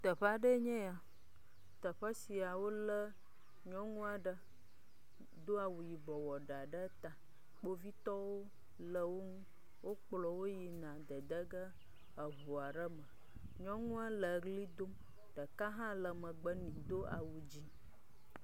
Teƒea ɖee nye ya. Teƒe sia wo le nyɔnua ɖe doa wu yibɔ wɔ ɖa ɖe ta. Kpovitɔwo le wo ŋu wokplɔ wo yina dedege eŋu aɖe me. Nyɔnua le ʋli dom. Ɖeka hã le megbe nɛ do awu dzi.